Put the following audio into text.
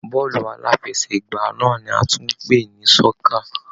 Bọ́ọ̀lù aláfẹsẹ̀gbá náà ní a tún ń pè ní sọ́kà.